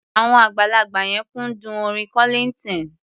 Àwọn àgbàlagbà yẹn kúndùn orin Kollignton.